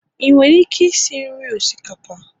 ị nwere ike isi nri osikapa?